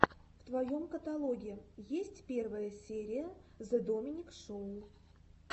в твоем каталоге есть первая серия зе доминик шоу